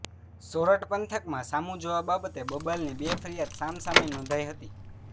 સોરઠ પંથકમાં સામુ જોવા બાબતે બબાલની બે ફરીયાદ સામ સામે નોંધાય હતી